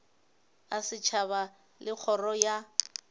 a setšhaba le kgoro ya